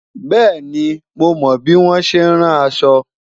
bẹẹni, mo mo bi wọn ṣẹ ràn aṣọ